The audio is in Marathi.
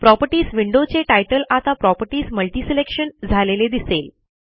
प्रॉपर्टीज विंडो चे तितले आता प्रॉपर्टीज मल्टीसिलेक्शन झालेले दिसेल